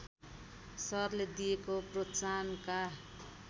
सरले दिएको प्रोत्साहनका